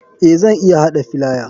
Eh zan iya hada filaya.